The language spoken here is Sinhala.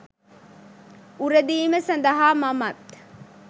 උරදීම සඳහා මමත්